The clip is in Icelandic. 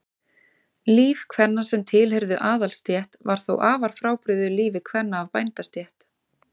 Líf kvenna sem tilheyrðu aðalsstétt var þó afar frábrugðið lífi kvenna af bændastétt.